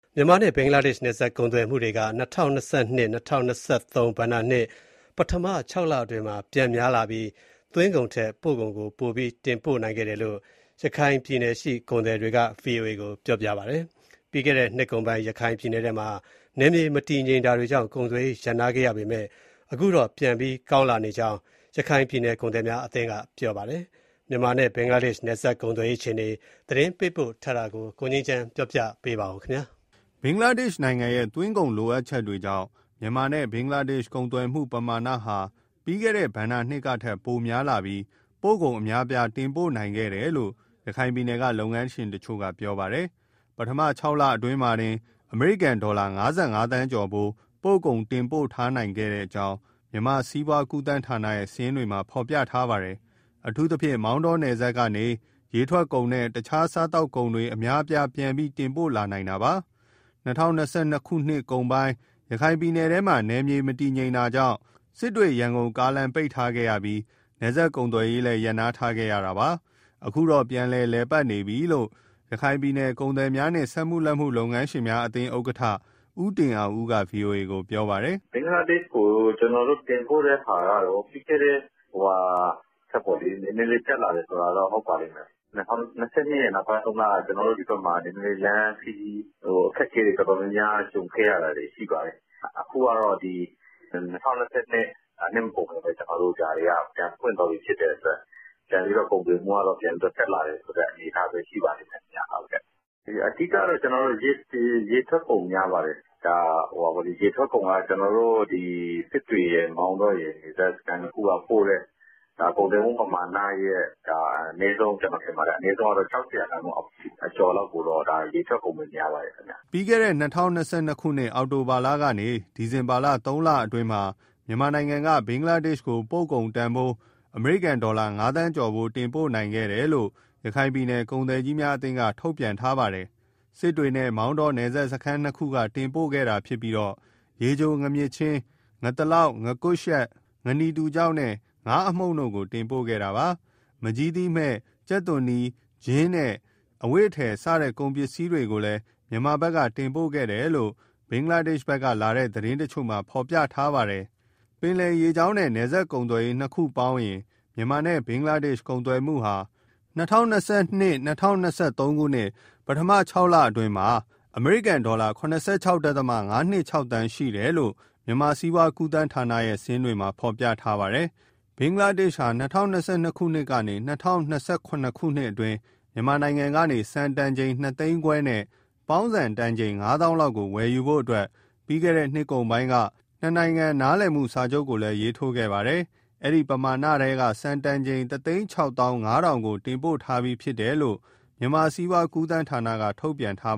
မြန်မာနဲ့ ဘင်္ဂလားဒေ့ရှ် နယ်စပ်ကုန်သွယ်မှုက ၂၀၂၂- ၂၀၂၃ ဘဏ္ဍာနှစ် ပထမ ခြောက်လအတွင်းမှာ ပြန်များလာပြီး သွင်းကုန်ထက် ပို့ကုန်ကို ပိုပြီးတင်ပို့နိုင်ခဲ့တယ်လို့ ရခိုင်ပြည်နယ်က ကုန်သည်တွေက ဗွီအိုအေကို ပြောပါတယ်။ ပြီးခဲ့တဲ့ နှစ်ကုန်ပိုင်း ရခိုင်ပြည်နယ်ထဲမှာ နယ်မြေမတည်ငြိမ်တာကြောင့် ကုန်သွယ်ရေး ရပ်နားခဲ့ရပေမဲ့ အခုတော့ ပြန်ပြီး ကောင်းလာခဲ့ကြောင်း ရခိုင်ပြည်နယ် ကုန်သည်များအသင်းက ပြောပါတယ်။ မြန်မာနဲ့ ဘင်္ဂလားဒေ့ရှ် နယ်စပ်ကုန်သွယ်ရေး အခြေအနေ သတင်းပေးပို့ထားတာကို ကိုငြိမ်းချမ်းက ပြောပြမှာပါ။ ဘင်္ဂလားဒေ့ရှ်နိုင်ငံရဲ့ သွင်းကုန်လိုအပ်ချက်ကြောင့် မြန်မာနဲ့ ဘင်္ဂလားဒေ့ရှ် ကုန်သွယ်မှုပမာဏဟာ ကျန်ခဲ့တဲ့ ဘဏ္ဍာနှစ်ထက် ပိုများလာပြီး ပို့ကုန်အများအပြား တင်ပို့လာနိုင်ခဲ့တယ်လို့ ရခိုင်ပြည်နယ်က လုပ်ငန်းရှင်တချို့က ပြောပါတယ်။ ပထမခြောက်လ အတွင်းမှာတင် အမေရိကန်ဒေါ်လာ ၅၅သန်းကျော်ဖိုး ပို့ကုန် တင်ပို့ထားနိုင်ကြောင်း မြန်မာ စီးပွားကူးသန်းဌာနရဲ့ စာရင်းတွေမှာ ဖော်ပြထားပါတယ်။ အထူးသဖြင့် မောင်းတောနယ်စပ်ကနေ ရေထွက်ကုန်နဲ့ အခြားစားသောက်ကုန်တွေ အများအပြား ပြန်ပြီးတင်ပို့လာနိုင်တာပါ။ ၂၀၂၂ နှစ်ကုန်ပိုင်း ရခိုင်ပြည်နယ်ထဲမှာ နယ်မြေမတည်ငြိမ်တာကြောင့် စစ်တွေ-ရန်ကုန်ကားလမ်းက ပိတ်ထားခဲ့ရပြီး နယ်စပ် ကုန်သွယ်ရေးလည်း ရပ်နားခဲ့ရတာပါ။ အခုတော့ ပြန်လည်ပတ်နေပြီလို့ ရခိုင်ပြည်နယ် ကုန်သည်များနှင့် စက်မှုလက်မှု လုပ်ငန်းရှင်များအသင်း ဥက္ကဋ္ဌ ဦးတင်အောင်ဦးက ဗွီအိုအေကို ပြောပါတယ်။ " ဘင်္ဂလားဒေ့ရှ်ကို ကျနော်တို့ တင်ပို့တဲ့ဟာကတော့ ပြီးခဲ့တဲ့ (နှစ်)ထက်ပေါ့လေ နည်းနည်းလေး တက်လာတယ်ဆိုတာတော့ ဟုတ်ပါလိမ့်မယ်၊ ၂၀၂၂ ရဲ့ နောက်ပိုင်းသုံးလက ဒီဘက်မှာ လမ်းခရီး အခက်အခဲတွေ တော်တော်များများ ကြုံခဲ့ရတာတွေ ရှိပါတယ်။ အခုတော့ ၂၀၂၂ နှစ်မကုန်ခင်ပဲ ဒါတွေက ပြန်ပွင့်သွားပြီ ဖြစ်တဲ့အတွက် ကုန်သွယ်မှုကတော့ ပြန်ပြီးတက်လာတယ်ဆိုတဲ့ အနေအထားပဲ ရှိပါတယ်။ အဓိကတော့ ရေထွက်ကုန် များပါတယ်၊ ရေထွက်ကုန်က စစ်တွေရယ် မောင်းတောရယ် နယ်စပ်စခန်း နှစ်ခုကပို့တဲ့ ကုန်သွယ်မှုမမာဏရဲ့ အနည်းဆုံး ၆၀ရာခိုင်နှုန်း အကျော်လောက်ကို ရေထွက်ကုန်တွေ များပါတယ်ခင်ဗျ။" ပြီးခဲ့တဲ့ ၂၀၂၂ အောက်တိုဘာကနေ ဒီဇင်ဘာလ သုံးလအတွင်းမှာ မြန်မာက ဘင်္ဂလားဒေ့ရှ်ကို ပို့ကုန်တန်ဖိုး အမေရိကန်ဒေါ်လာ ငါးသန်းကျော် တင်ပို့နိုင်ခဲ့တယ်လို့ ရခိုင်ပြည်နယ် ကုန်သည်အသင်းက ထုတ်ပြန်ထားပါတယ်။ စစ်တွေနဲ့ မောင်းတော နယ်စပ်စခန်း နှစ်ခုကနေ တင်ပို့ခဲ့တာဖြစ်ပြီး ရေချိုငါးမြစ်ချင်း၊ ငါးသလောက်၊ ငါးကွမ်းရှပ်၊ ငါးနီတူခြောက်နဲ့ ငါးအမှုန့်တို့ကို တင်ပို့ခဲ့တာပါ။ မန်ကျည်းသီးမှည့်၊ ကြက်သွန်နီ၊ ချင်းနဲ့ အဝတ်အထည် စတဲ့ ကုန်ပစ္စည်းတွေကိုလည်း မြန်မာဘက်က တင်ပို့ခဲ့တယ်လို့ ဘင်္ဂလားဒေ့ရှ်ကလာတဲ့ သတင်းတချို့မှာ ဖော်ပြထားပါတယ်။ ပင်လယ်ရေကြောင်းနဲ့ နယ်စပ်ကုန်သွယ်ရေး နှစ်ခုပေါင်းဆိုရင်တော့ မြန်မာနဲ့ ဘင်္ဂလားဒေ့ရှ် ကုန်သွယ်မှုက ၂၀၂၂-၂၀၂၃ ပထမခြောက်လအတွင်းမှာ ၇၆.၅၂၆ သန်းရှိတယ်လို့ မြန်မာ စီးပွားကူးသန်းဌာနရဲ့ စာရင်းတွေမှာ ဖော်ပြထားပါတယ်။ ဘင်္ဂလားဒေ့ရှ်ဟာ ၂၀၂၂ကနေ ၂၀၂၇ နှစ်အတွင်း မြန်မာနိုင်ငံကနေ ဆန်တန်ချိန် နှစ်သိန်းခွဲနဲ့ ပေါင်းဆန်တန်ချိန် ငါးသောင်းလောက်ကို ဝယ်ယူဖို့အတွက် ပြီးခဲ့တဲ့နှစ်ကုန်ပိုင်းက နှစ်နိုင်ငံ နားလည်မှုစာချုပ်ကိုလည်းရေးထိုးခဲ့ပါတယ်။ အဲဒီပမာဏထဲက ဆန်တန်ချိန် ၁၆၅,၀၀၀ ကို တင်ပို့ထားပြီး ဖြစ်တယ်လို့ မြန်မာစီးပွားကူးသန်းဌာနက ထုတ်ပြန်ထား